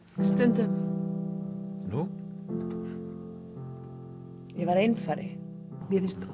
stundum nú ég var einfari mér finnst